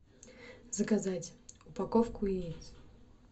заказать упаковку яиц